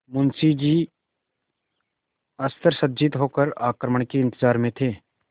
मुंशी जी अस्त्रसज्जित होकर आक्रमण के इंतजार में थे